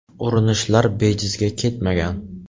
Urinishlar bejizga ketmagan.